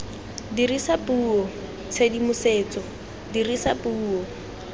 dirisa puo tshedimosetso dirisa puo